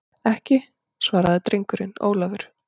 Ekki, svaraði drengurinn Ólafur.